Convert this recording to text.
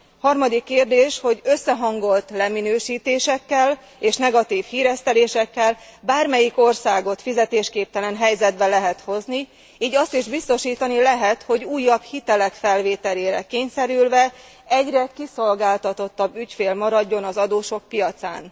Harmadik kérdés, hogy összehangolt leminősítésekkel és negatív híresztelésekkel bármelyik országot fizetésképtelen helyzetbe lehet hozni, így azt is biztosítani lehet, hogy újabb hitelek felvételére kényszerülve egyre kiszolgáltatottabb ügyfél maradjon az adósok piacán.